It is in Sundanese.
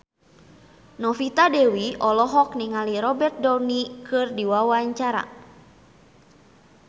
Novita Dewi olohok ningali Robert Downey keur diwawancara